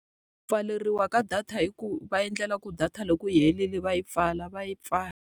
Ku pfaleriwa ka data hi ku va endlela ku data loko yi herile va yi pfala va yi pfala.